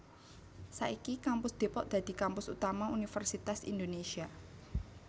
Saiki Kampus Depok dadi kampus utama Universitas Indonésia